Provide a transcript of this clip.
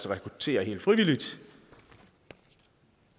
rekruttere helt frivilligt